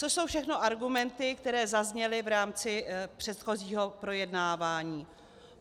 což jsou všechno argumenty, které zazněly v rámci předchozího projednávání.